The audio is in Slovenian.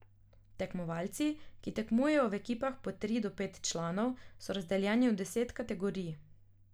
Tekmovalci, ki tekmujejo v ekipah po tri do pet članov, so razdeljeni v deset kategorij.